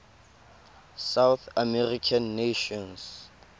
south american nations